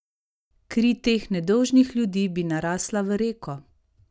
Kri teh nedolžnih ljudi bi narasla v reko!